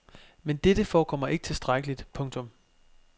Men dette forekommer ikke tilstrækkeligt. punktum